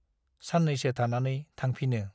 साननैसो थानानै थांफिनो ।